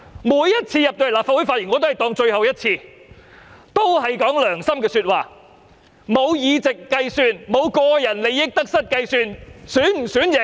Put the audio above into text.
我每次在立法會發言也會當作是最後一次，一定會說良心話，完全沒有議席的計算，亦沒有個人利益得失的計算。